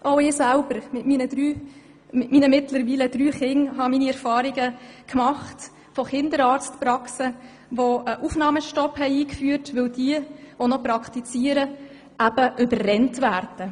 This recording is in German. Auch ich selber mit meinen drei Kindern habe Erfahrungen mit Kinderarztpraxen gemacht, die einen Aufnahmestopp eingeführt haben, weil die noch praktizierenden Ärzte überrannt werden.